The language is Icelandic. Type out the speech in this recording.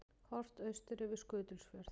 Horft austur yfir Skutulsfjörð.